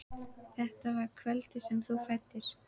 Þetta var kvöldið sem þú fæddir.